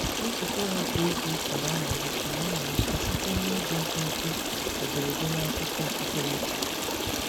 Nzukọ ha kwa izuụka na-amalite na-amalite site n'ịgụ nkenke ederede n'akwụkwọ okpukperechi.